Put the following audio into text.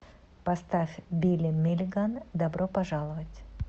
поставь билли миллиган добро пожаловать